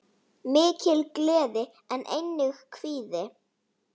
Mikil gleði en einnig kvíði.